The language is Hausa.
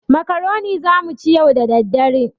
Makaroni za mu ci yau da dare.